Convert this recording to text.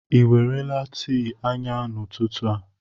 Ị ewerela tii ayan n'ụtụtụ a?